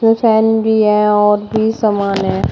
Fan भी है और भी समान है।